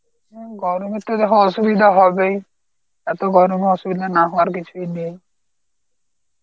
হম গরমে তো দেখো অসুবিধা হবেই. এত গরমে অসুবিধা না হওয়ার কিছুই নেই.